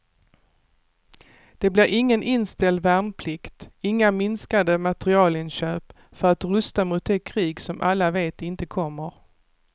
Det blir ingen inställd värnplikt, inga minskade materielinköp för att rusta mot det krig som alla vet inte kommer.